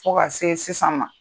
FƆ ka se sisan ma